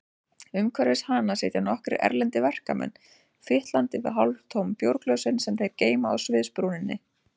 Umhverfis hana sitja nokkrir erlendir verkamenn, fitlandi við hálftóm bjórglösin sem þeir geyma á sviðsbrúninni.